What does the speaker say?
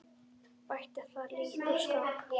Bætti það lítt úr skák.